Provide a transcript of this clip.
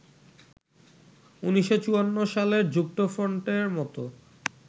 ১৯৫৪ সালের যুক্তফ্রন্টের মতো